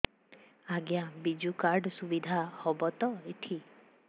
ଆଜ୍ଞା ବିଜୁ କାର୍ଡ ସୁବିଧା ହବ ତ ଏଠି